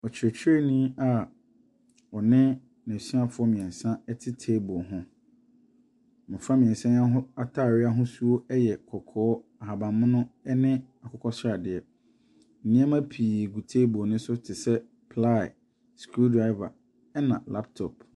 Ɔkyerɛkyerɛnii a ɔne nɛsuafoɔ mmiɛnsa ete table ho. Nnipa mmiɛnsa yi ataade ahosuo ɛyɛ kɔkɔɔ, ahaban mono ɛne akokɔ sradeɛ. Nneɛma pii gu table no so te sɛ ply, screw driver ɛna laptop.